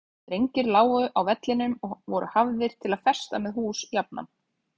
Strengir lágu á vellinum og voru hafðir til að festa með hús jafnan.